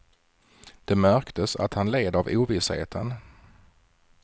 Det märktes att han led av ovissheten.